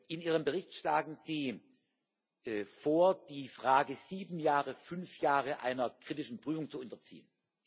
In Ihrem Bericht schlagen Sie vor, die Frage sieben Jahren fünf Jahre einer kritischen Prüfung zu unterziehen.